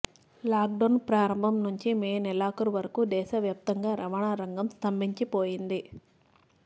lockdown ప్రారంభం నుంచి May నెలాఖరు వరకు దేశవ్యాప్తంగా రవాణా రంగం స్తంభించిపోయింది